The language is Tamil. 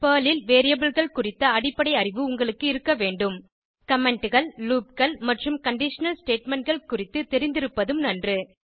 பெர்ல் ல் Variableகள் குறித்த அடிப்படை அறிவு உங்களுக்கு இருக்க வேண்டும் commentகள் loopகள் மற்றும் கண்டிஷனல் statementகள் குறித்து தெரிந்திருப்பதும் நன்று